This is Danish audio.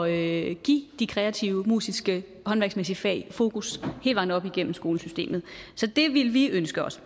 at give de kreative musiske og håndværksmæssige fag fokus hele vejen op igennem skolesystemet så det ville vi ønske os at